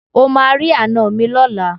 O máa rí àná mi lọ́la.